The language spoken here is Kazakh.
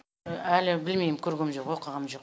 әлі білмейм көргем жоқ оқығам жоқ